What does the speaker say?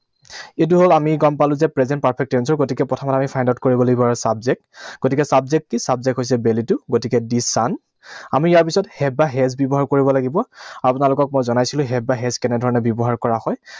এইটো হল আমি গম পালো যে present perfect tense ৰ। গতিকে প্ৰথমতে আমি find out কৰিব লাগিব আমাৰ subject, গতিকে subject কি? Subject হৈছে বেলিটো। গতিকে the sun, আমি ইয়াৰ পিছত have বা has ব্যৱহাৰ কৰিব লাগিব। আপোনালোকক মই জনাইছিলো have বা has কেনেধৰণেৰে ব্যৱহাৰ কৰা হয়।